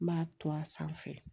N b'a to a sanfɛ